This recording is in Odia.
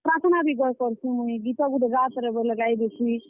ପ୍ରାର୍ଥନା ବି ଗୁଏଇ କର୍ ସିଁ ମୁଇଁ, ଗୀତ ଗୁଟେ ଗାତରେ ବଏଲେ ଗାଈଦେସି।